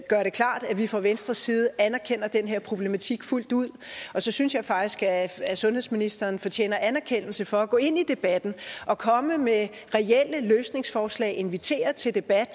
gøre det klart at vi fra venstres side anerkender den her problematik fuldt ud og så synes jeg faktisk at sundhedsministeren fortjener anerkendelse for at gå ind i debatten komme med reelle løsningsforslag og invitere til debat